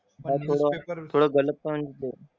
हां थोडं थोडं गलत पण ते.